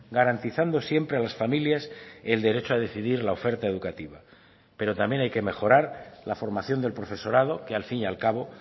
garantizando siempre a las familias el derecho a decidir la oferta educativa pero también hay que mejorar la formación del profesorado que al fin y al cabo